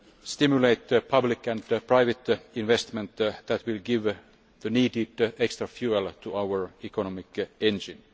stimulate public and private investment that will give the needed extra fuel to our economic engine.